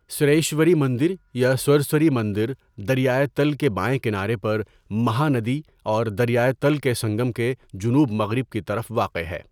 سریشوری مندر یا سورسوری مندر دریائے تل کے بائیں کنارے پر مہانادی اور دریائے تل کے سنگم کے جنوب مغرب کی طرف واقع ہے۔